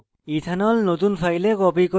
ethanol ethanol নতুন file copy copy